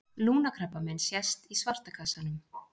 lungnakrabbamein sést í svarta kassanum